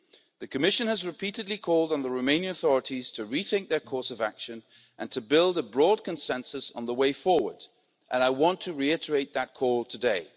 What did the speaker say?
The Commission has repeatedly called on the Romanian authorities to rethink their course of action, and to build a broad consensus on the way forward, and I want to reiterate that call today.